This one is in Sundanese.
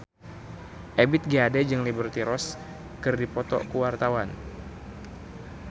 Ebith G. Ade jeung Liberty Ross keur dipoto ku wartawan